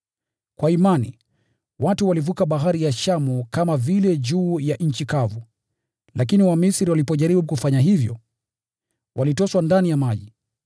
Kwa imani, watu walivuka Bahari ya Shamu kama vile juu ya nchi kavu; lakini Wamisri walipojaribu kufanya hivyo, walitoswa ndani ya maji.